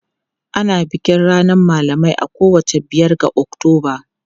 Ana bikin ranar malamai a kowace biyar ga Oktoba.